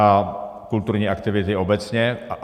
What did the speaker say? A kulturní aktivity obecně.